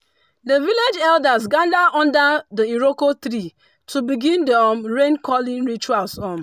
the village elders gathered under the iroko tree to begin the um rain calling rituals. um